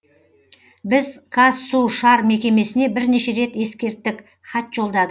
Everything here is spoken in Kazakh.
біз қазсушар мекемесіне бірнеше рет ескерттік хат жолдадық